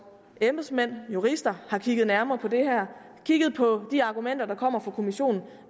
embedsmænd jurister har kigget nærmere på det her har kigget på de argumenter der kommer fra kommissionen